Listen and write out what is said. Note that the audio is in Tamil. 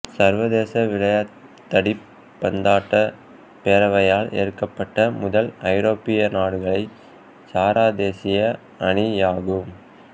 சர்வதேச வளைதடிப் பந்தாட்ட பேரவையால் ஏற்கப்பட்ட முதல் ஐரோப்பிய நாடுகளை சாரா தேசிய அணியாகும்